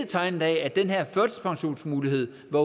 tegnes af at den her mulighed for